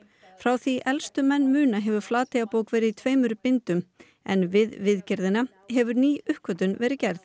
frá því elstu menn muna hefur Flateyjarbók verið í tveimur bindum en við viðgerðina hefur ný uppgötvun verið gerð